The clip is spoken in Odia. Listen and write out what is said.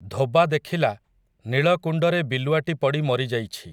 ଧୋବା ଦେଖିଲା, ନୀଳକୁଣ୍ଡରେ ବିଲୁଆଟି ପଡ଼ି ମରିଯାଇଛି ।